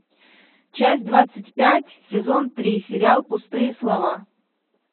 часть двадцать пять сезон три сериал пустые слова